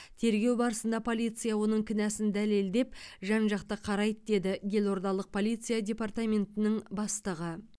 тергеу барысында полиция оның кінәсін дәлелдеп жан жақты қарайды деді елордалық полиция департаментінің бастығы